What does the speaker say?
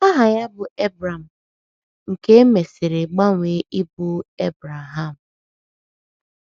Aha ya bụ Ebram, nke e nke e mesiri gbanwee ịbụ Ebreham.